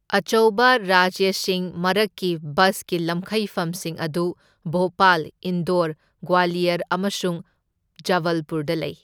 ꯑꯆꯧꯕ ꯔꯥꯖ꯭ꯌꯁꯤꯡ ꯃꯔꯛꯀꯤ ꯕꯁꯀꯤ ꯂꯝꯈꯩꯐꯝꯁꯤꯡ ꯑꯗꯨ ꯚꯣꯄꯥꯜ, ꯏꯟꯗꯣꯔ, ꯒ꯭ꯋꯥꯂꯤꯌꯔ ꯑꯃꯁꯨꯡ ꯖꯕꯜꯄꯨꯔꯗ ꯂꯩ꯫